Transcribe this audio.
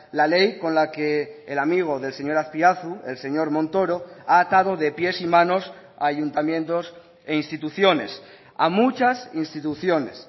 la ley con la que el amigo del señor azpiazu el señor montoro ha atado de pies y manos a ayuntamientos e instituciones a muchas instituciones